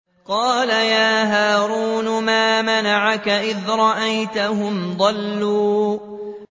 قَالَ يَا هَارُونُ مَا مَنَعَكَ إِذْ رَأَيْتَهُمْ ضَلُّوا